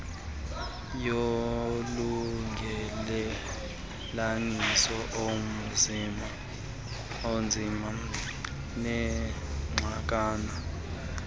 yolungelelaniso enzima nexakayo